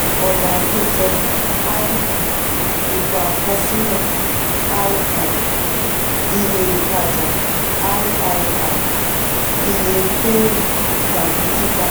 ọ̀nà àkójọ: (i) itan àkọsílẹ̀ (ii) iye ìtajà (iii) iye kéré tàbí tita.